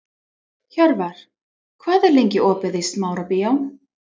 Hjörvar, hvað er lengi opið í Smárabíói?